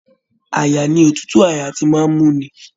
Àyà ní òtútù àyà tí màá n mú ní.